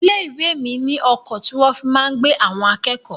Ilé-ìwé mi ní ọkọ̀ tí wọ́n fi máa ń gbé àwọn akẹ́kọ̀ọ́.